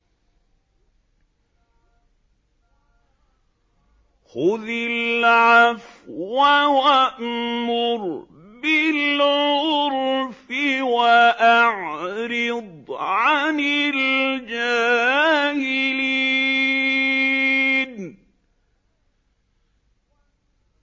خُذِ الْعَفْوَ وَأْمُرْ بِالْعُرْفِ وَأَعْرِضْ عَنِ الْجَاهِلِينَ